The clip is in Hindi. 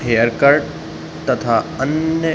हेयर कट तथा अन्य --